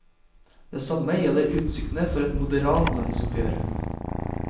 Det samme gjelder utsiktene for et moderat lønnsoppgjør.